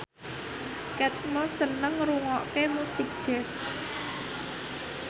Kate Moss seneng ngrungokne musik jazz